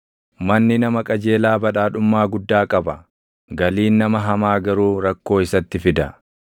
Manni nama qajeelaa badhaadhummaa guddaa qaba; galiin nama hamaa garuu rakkoo isatti fida.